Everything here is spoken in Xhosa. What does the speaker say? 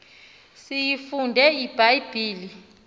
siyifunde ibha yibhile